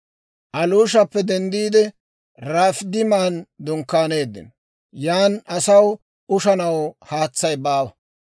Aluushappe denddiide, Rafiidiman dunkkaaneeddino. Yan asaw ushanaw haatsay baawa.